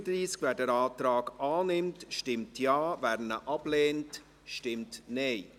Wer den Antrag annimmt, stimmt Ja, wer diesen ablehnt, stimmt Nein.